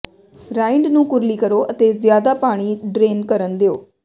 ਰਾਈਂਡ ਨੂੰ ਕੁਰਲੀ ਕਰੋ ਅਤੇ ਜ਼ਿਆਦਾ ਪਾਣੀ ਡਰੇਨ ਕਰਨ ਦਿਓ